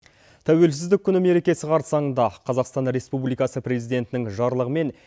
тәуелсіздік күні мерекесі қарсаңында қазақстан республикасы президентінің жарлығымен